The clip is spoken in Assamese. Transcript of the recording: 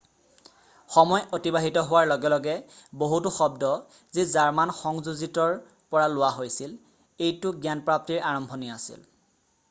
সময় অতিবাহিত হোৱাৰ লগে লগে বহুতো শব্দ যি জাৰ্মান সংযোজিতৰ পৰা লোৱা হৈছিল৷ এইটো জ্ঞানপ্ৰাপ্তিৰ আৰম্ভণি আছিল৷